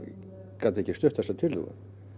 gat ekki stutt þessa tillögu